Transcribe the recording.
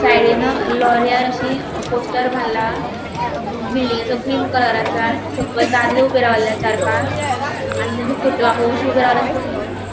साइडीन लॉरिअल अशी पोस्टर मारला. बिल्डिंगेचो क्रीम कलर आसा सकयल दादले ऊबे रावला चार पाँच आणि तेंचो फोटो --